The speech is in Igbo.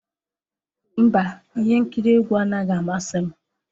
Mba, ihe nkiri egwu anaghị amasị m.